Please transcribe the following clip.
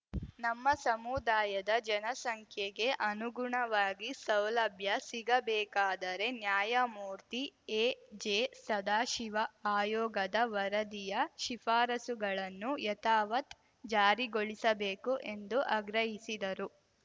ನಮ್ಮ ಸಮುದಾಯದ ಜನಸಂಖ್ಯೆಗೆ ಅನುಗುಣವಾಗಿ ಸೌಲಭ್ಯ ಸಿಗಬೇಕಾದರೆ ನ್ಯಾಯಮೂರ್ತಿ ಎಜೆ ಸದಾಶಿವ ಆಯೋಗದ ವರದಿಯ ಶಿಫಾರಸುಗಳನ್ನು ಯಥಾವತ್‌ ಜಾರಿಗೊಳಿಸಬೇಕು ಎಂದು ಆಗ್ರಹಿಸಿದರು